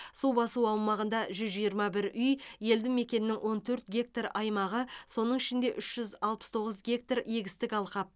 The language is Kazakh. су басу аумағында жүз жиырма бір үй елді мекеннің он төрт гектар аймағы соның ішінде үш жүз алпыс тоғыз гектар егістік алқап